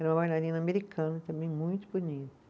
Era uma bailarina americana também, muito bonita.